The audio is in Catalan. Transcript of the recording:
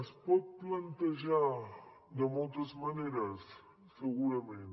es pot plantejar de moltes maneres segurament